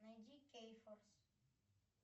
найди кейфорс